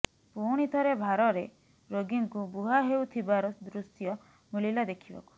ପୁଣି ଥରେ ଭାର ରେ ରୋଗୀଙ୍କୁ ବୁହା ହେଉଥିବାର ଦୃଶ୍ୟ ମିଳିଲା ଦେଖିବାକୁ